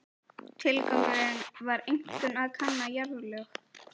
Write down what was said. Tilgangurinn var einkum að kanna jarðlög.